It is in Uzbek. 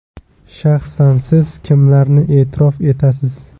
Shaxsan siz kimlarni e’tirof etasiz?